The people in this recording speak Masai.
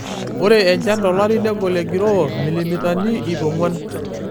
Ore enchan tolari negol egiroo milimitani iip ong'uan.